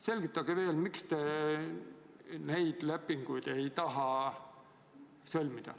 Selgitage veel, miks te neid lepinguid ei taha sõlmida.